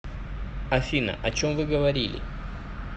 афина о чем вы говорили